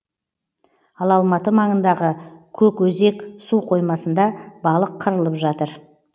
ал алматы маңындағы көкөзек су қоймасында балық қырылып жатыр